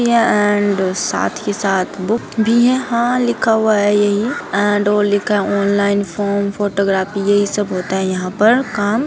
यह एंड साथ ही साथ बुक भी है। यहाँ लिखा हुआ है यही एंड और लिखा है ऑनलाइन फॉर्म फोटोग्राफी यहीं सब होता है यहाँ पर काम।